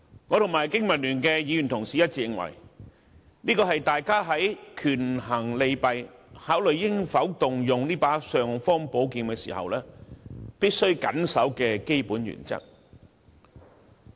我和經民聯的議員一致認為，這是大家在權衡利弊，考慮應否動用這把"尚方寶劍"時，必須緊守的基本原則。